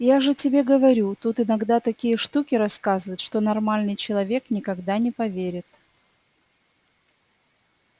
я же тебе говорю тут иногда такие штуки рассказывают что нормальный человек никогда не поверит